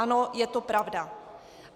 Ano, je to pravda.